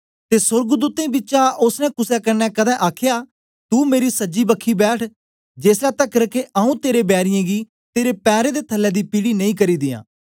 ते सोर्गदूतें बिचा ओसने कुसे कन्ने कदें आखया तू मेरी सज्जी बखी बैठ जेसलै तकर के आऊँ तेरे बैरीयें गी तेरे पैरें दे थलै दी पीढ़ी नेई करी दियां